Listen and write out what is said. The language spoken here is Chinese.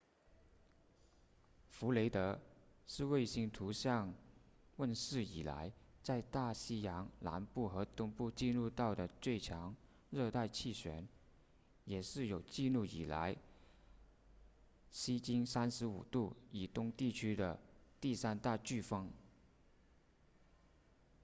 弗雷德是卫星图像问世以来在大西洋南部和东部记录到的最强热带气旋也是有记录以来西经 35° 以东地区的第三大飓风